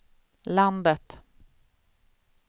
landet